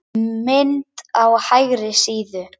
Mynd á hægri síðu.